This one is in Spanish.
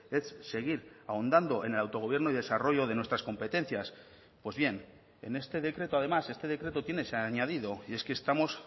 es seguir ahondando en el autogobierno y desarrollo de nuestras competencias pues bien en este decreto además este decreto tiene ese añadido y es que estamos